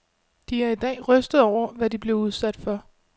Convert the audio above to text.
De er i dag rystede over, hvad de blev udsat for.